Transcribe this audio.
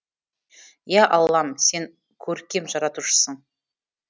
ия аллам сен көркем жаратушысың